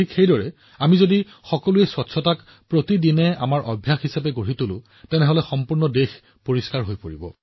একেদৰে যদি আমি পৰিষ্কাৰপৰিচ্ছন্নতাক প্ৰতিদিনৰ অভ্যাস হিচাপে তৈয়াৰ কৰোঁ তেন্তে সমগ্ৰ দেশ পৰিষ্কাৰ হব